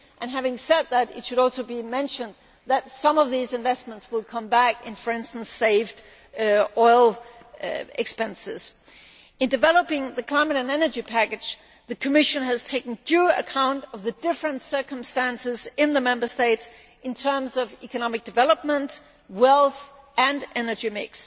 Having said that, it should also be mentioned that some of these investments will come back in, for instance, saved oil expenditure. In developing the climate and energy package, the Commission has taken due account of the different circumstances in the Member States in terms of economic development, wealth and energy mix.